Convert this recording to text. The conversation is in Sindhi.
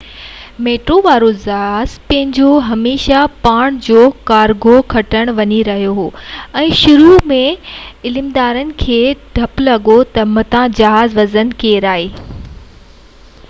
100 ميٽر وارو جهاز پنهنجو هميشہ ڀاڻ جو ڪارگو کڻڻ وڃي رهيو هو ۽ شروع ۾ عملدارن کي ڊپ لڳو تہ متان جهاز وزن ڪيرائي